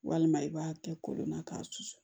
Walima i b'a kɛ kolon na k'a susu